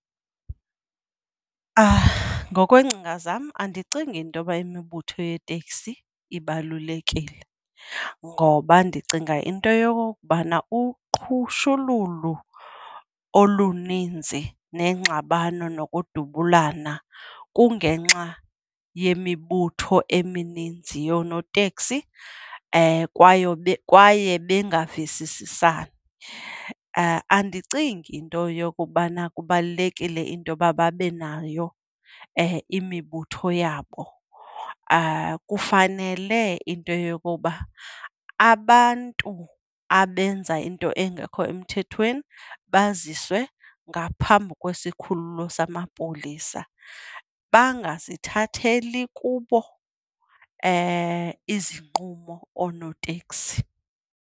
Ngokwengcinga zam andicingi intoba imibutho yeeteksi ibalulekile ngoba ndicinga into yokokubana uqhushululu oluninzi neengxabano nokudubulana kungenxa yemibutho emininzi yoonoteksi kwayo kwaye bangavisisani. Andicingi into yokubana kubalulekile into yoba babe nayo imibutho yabo, kufanele into yokuba abantu abenza into engekho emthethweni baziswe ngaphambi kwesikhululo samapolisa bangazithatheli kubo izinqumo oonoteksi.